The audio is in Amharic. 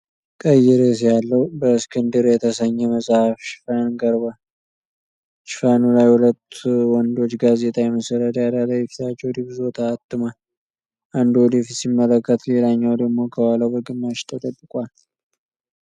ቀይ ርዕስ ያለው "በእስክንድር" የተሰኘ መጽሐፍ ሽፋን ቀርቧል፡፡ ሽፋኑ ላይ ሁለት ወንዶች ጋዜጣ የመሰለ ዳራ ላይ ፊታቸው ደብዝዞ ታትሟል፡፡ አንዱ ወደ ፊት ሲመለከት፣ ሌላኛው ደግሞ ከኋላው በግማሽ ተደብቋል፡፡